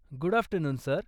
Good afternoon, sir!